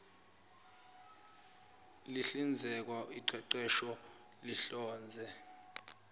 lihlinzeke uqeqesho lihlonze